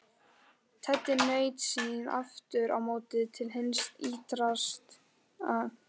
Teddi naut sín aftur á móti til hins ýtrasta.